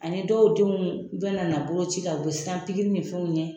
Ani dɔw denw bɛna na boloci la u bɛ siran pikiri ni fɛnw ɲɛ